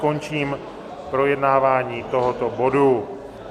Končím projednávání tohoto bodu.